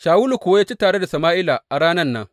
Shawulu kuwa ya ci tare da Sama’ila a ranan nan.